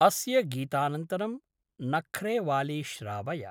अस्य गीतानन्तरं नख्रेवाली श्रावय।